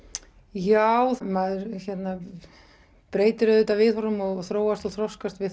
já maður breytir auðvitað viðhorfum og þróast og þroskast við